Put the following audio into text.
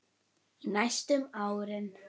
Í næstum ár.